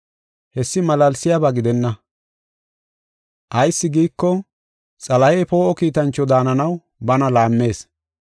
Hessi malaalsiyaba gidenna; ayis giiko, Xalahey poo7o kiitancho daananaw bana laammees.